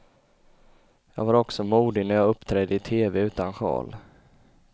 Jag var också modig när jag uppträdde i teve utan sjal.